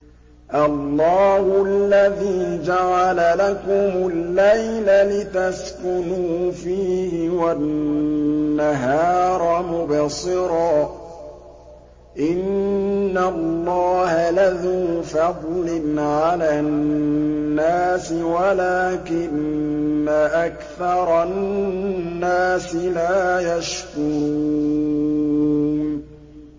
اللَّهُ الَّذِي جَعَلَ لَكُمُ اللَّيْلَ لِتَسْكُنُوا فِيهِ وَالنَّهَارَ مُبْصِرًا ۚ إِنَّ اللَّهَ لَذُو فَضْلٍ عَلَى النَّاسِ وَلَٰكِنَّ أَكْثَرَ النَّاسِ لَا يَشْكُرُونَ